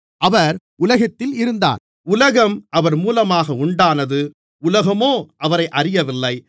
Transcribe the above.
அவர் உலகத்தில் இருந்தார் உலகம் அவர் மூலமாக உண்டானது உலகமோ அவரை அறியவில்லை